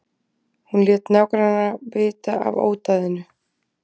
Hún lét nágranna vita af ódæðinu